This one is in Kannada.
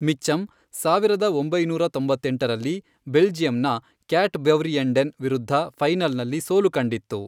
ಮಿಚ್ಚಮ್, ಸಾವಿರದ ಒಂಬೈನೂರ ತೊಂಬತ್ತೆಂಟರಲ್ಲಿ ಬೆಲ್ಜಿಯಂನ ಕ್ಯಾಟ್ಬವ್ರಿಯೆಂಡೆನ್ ವಿರುದ್ಧ ಫೈನಲ್ನಲ್ಲಿ ಸೋಲು ಕಂಡಿತ್ತು.